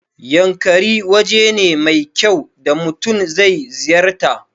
Yankari waje ne mai kyau da mutun zai ziyarta